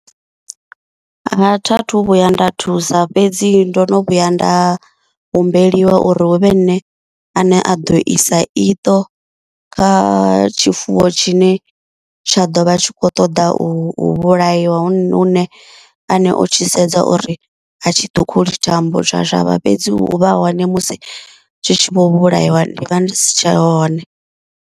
Ha tha thu vhuya nda thusa fhedzi ndo no vhuya nda humbeliwa uri huvhe nṋe ane a ḓo isa iṱo kha tshifuwo tshine tsha ḓovha tshi kho ṱoḓa u vhulaiwa, hune hu nṋe aṋe o tshi sedza uri a tshi ṱhukhuli thambo tsha shavha, fhedzi u vha hone musi zwi tshi vho vhulaiwa ndi vha ndi si tshe hone.